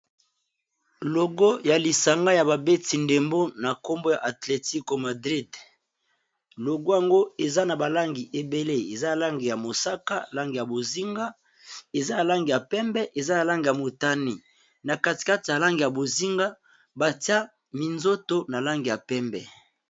Awa namoni balakisi biso mwa logo yalisanga ya babeti ndembo eza nalangi ya motane na ya bozinga pe pembe